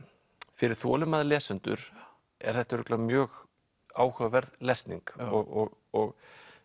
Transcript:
fyrir þolinmóða lesendur er þetta örugglega mjög áhugaverð lesning og og